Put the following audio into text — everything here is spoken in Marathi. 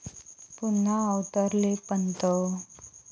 पुन्हा अवतरले पंत!